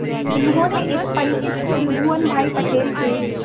उन्होंने एक परिचित त्रिभुवन भाई पटेल के